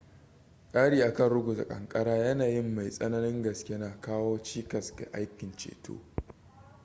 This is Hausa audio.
kari akan ruguza kankara yanayin mai tsananin gaske na kawo cikas ga aikin ceto